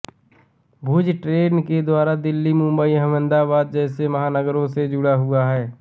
भुज train के द्वारा दिल्ली मुंबई अहमदाबाद जैसे महानगरों से जुड़ा हुआ है